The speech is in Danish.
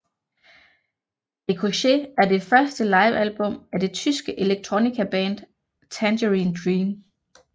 Ricochet er det første livealbum af det tyske electronicaband Tangerine Dream